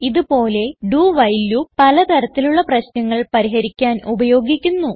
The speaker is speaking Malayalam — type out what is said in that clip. ഇത് പോലെ ഡോ വൈൽ ലൂപ്പ് പല തരത്തിലുള്ള പ്രശ്നങ്ങൾ പരിഹരിക്കാൻ ഉപയോഗിക്കുന്നു